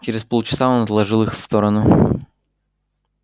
через полчаса он отложил их в сторону